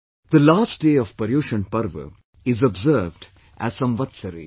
The last day of ParyushanParva is observed as Samvatsari